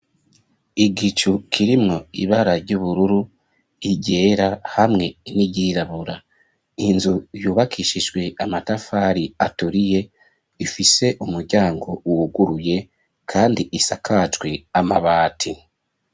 Igicu kirimwo ibara ry'ubururu iryera hamwe n'iyirabura inzu yubakishijwe amatafari aturiye ifise umuryango wuguruye kandi isakajwe amabati.